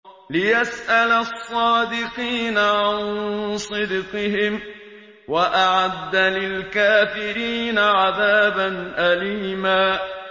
لِّيَسْأَلَ الصَّادِقِينَ عَن صِدْقِهِمْ ۚ وَأَعَدَّ لِلْكَافِرِينَ عَذَابًا أَلِيمًا